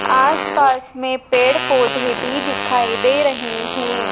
आस पास में पेड़ पौधे भी दिखाई दे रहे हैं।